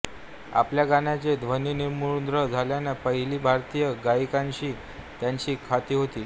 आपल्या गाण्याचे ध्वनिमुद्रण झालेली पहिली भारतीय गायिकाअशी त्यांची ख्याती होती